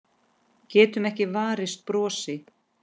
Getur ekki varist brosi.